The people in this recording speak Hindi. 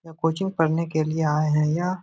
कोचिंग पढ़ने के लिए आए है यह --